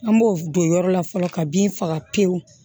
An b'o don yɔrɔ la fɔlɔ ka bin faga pewu